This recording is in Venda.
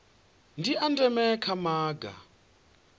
ndi a ndeme kha maga